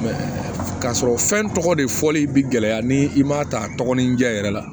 k'a sɔrɔ fɛn tɔgɔ de fɔli bi gɛlɛya ni i m'a ta tɔgɔ ni diya yɛrɛ la